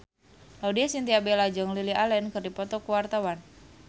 Laudya Chintya Bella jeung Lily Allen keur dipoto ku wartawan